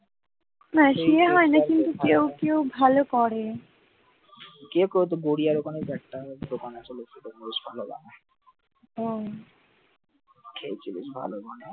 কে কইতো যে গুড়িয়া ওখানে একটা দোকান আছে লশির ভালো বানায় খেয়েছিলিস ভালো বানায়,